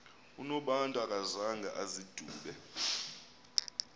unobantu akazanga azidube